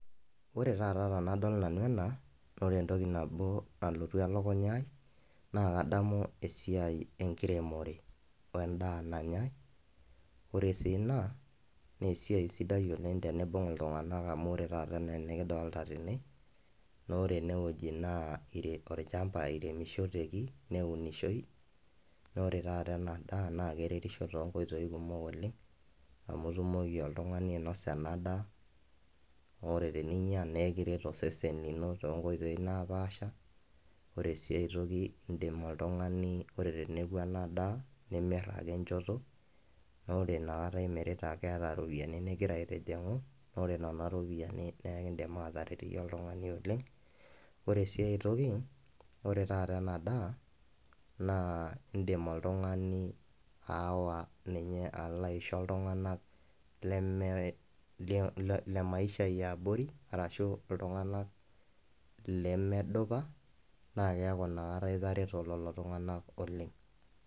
Wore taata tenadol nanu ena, naa wore entoki nabo nalotu elukunya ai. Naa kadamu esiai enkiremore wendaa nanyai, wore sii inia, naa esiai sidai oleng' teniimbung iltunganak amu wore enaa taata enikidolita tene, naa wore enewuoji naa olchamba iremishoteki, neunishoi, naa wore taata ena daa naa keretisho toonkoitoi kumok oleng', amu itumoki oltungani ainosa ena daa. Naa wore teninya naa ekiret osesen lino toonkoitoi naapaasha, wore sii aitoki iindim oltungani, wore teneoki ena daa naa imirr ake enchoto, naa wore iniakata imirta keeta iropiyani nikira aitijingu. Naa wore niana ropiyiani naa ekiidim aataret iyie oltungani oleng'. Wore si aitoki, wore taata ena daa, naa iindim oltungani aawa ninye alo aisho iltunganak lemee lemaisha eeabori, arashu iltunganak lemedupa. Naa keeku iniakata itareto lelo tunganak oleng'.